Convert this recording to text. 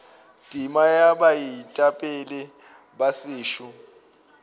tema ya baetapele ba setšo